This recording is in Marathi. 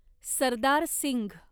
सरदार सिंघ